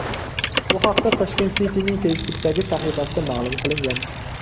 Bu haqda Tashkent City’ning Facebook’dagi sahifasida ma’lum qilingan .